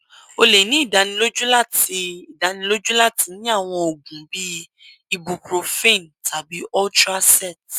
o le ni idaniloju lati idaniloju lati ni awọn oogun bii ibuprofen tabi ultracet